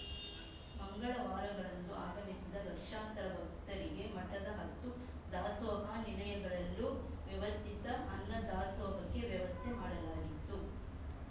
ಮಂಗಳವಾರಗಳಂದು ಆಗಮಿಸಿದ ಲಕ್ಷಾಂತರ ಭಕ್ತರಿಗೆ ಮಠದ ಹತ್ತು ದಾಸೋಹ ನಿಲಯಗಳಲ್ಲೂ ವ್ಯವಸ್ಥಿತ ಅನ್ನದಾಸೋಹಕ್ಕೆ ವ್ಯವಸ್ಥೆ ಮಾಡಲಾಗಿತ್ತು